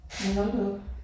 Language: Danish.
Ja hold da op